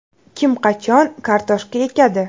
Kim, qachon kartoshka ekadi?